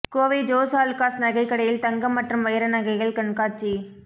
கோவை ஜோஸ் ஆலுக்காஸ் நகைக்கடையில் தங்கம் மற்றும் வைர நகைகள் கண்காட்சி